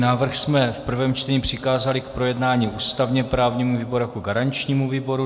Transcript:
Návrh jsme v prvém čtení přikázali k projednání ústavně-právnímu výboru jako garančnímu výboru.